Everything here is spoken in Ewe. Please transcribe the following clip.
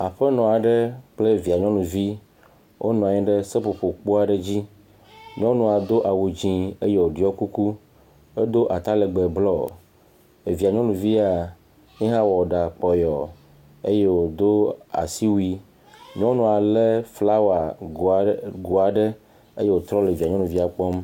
Aƒenɔ aɖe kple via nyɔnuvi wonɔ anyi ɖe seƒoƒokpo aɖe dzi, nyɔnua do awu dzɛ̃ eye woɖɔ kuku, edo atalegbe blɔ, evia nyɔnuvia ye hã wɔ ɖa kpɔyɔɔ eye wòdo asiwui, nyɔnua lé flawago aɖe eye wòtrɔ via nyɔnuvia kpɔm.